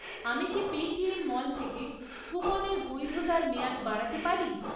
আমি কি Paytm Mall থেকে কুপনের বৈধতার মেয়াদ বাড়াতে পারি?